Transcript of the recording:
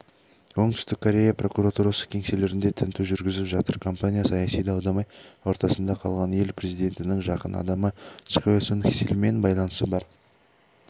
оңтүстік корея прокуратурасы кеңселерінде тінту жүргізіп жатыр компания саяси дау-дамай ортасында қалған ел президентінің жақын адамы чхве сунь сильмен байланысы бар